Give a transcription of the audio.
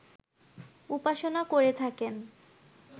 উপাসনা করে থাকেন